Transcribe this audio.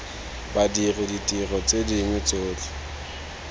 badiri ditiro tse dingwe tsotlhe